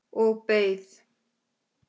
Og beið.